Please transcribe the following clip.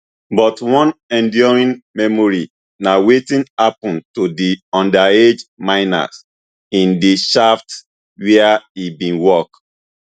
but one enduring memory na wetin happun to di underage miners in di shaft wia e bin work